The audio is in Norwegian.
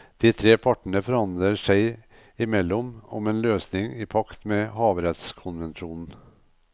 De tre partene forhandler seg imellom om en løsning i pakt med havrettskonvensjonen.